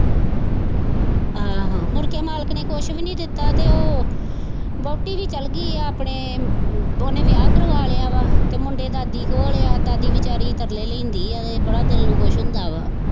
ਆਹੋ ਮੁੜ ਕੇ ਮਾਲਕ ਨੇ ਕੁੱਝ ਵੀ ਨਹੀਂ ਦਿੱਤਾ ਤੇ ਵਹੁਟੀ ਵੀ ਚੱਲ ਗਈ ਹੈ ਆਪਣੇ ਉਹਨੇ ਵਿਆਹ ਕਰਵਾ ਲਿਆ ਵਾ ਤੇ ਮੁੰਡੇ ਦਾਦੀ ਕੋਲ ਹੈ ਤੇ ਦਾਦੀ ਵਿਚਾਰੀ ਤਰਲੇ ਲੈਂਦੀ ਹੈ ਬੜਾ ਦਿਲ ਨੂੰ ਦੁੱਖ ਹੁੰਦਾ ਵਾ।